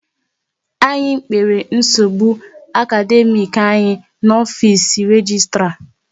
Anyị kpere nsogbu akademiiki anyị n'ofisi registra